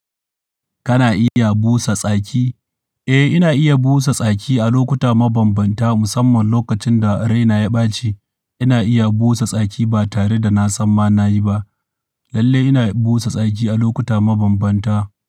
Kana iya busa tsaki? Eh, ina iya busa tsaki a lokuta mabambanta musamman lokacin da raina ya ɓaci. Ina iya busa tsaki ba tare da na san ma na yi ba. Lalle ina busa tsaki a lokuta mabambanta.